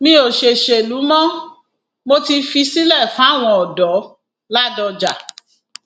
mi ò ṣọṣẹlù mo mo ti fi sílẹ fáwọn ọdọládọjà